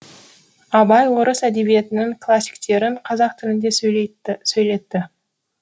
абай орыс әдебиетінің классиктерін қазақ тілінде сөйлетті